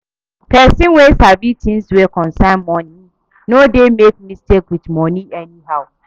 Pesin wey sabi tins wey concern moni no dey make mistake with moni anyhow.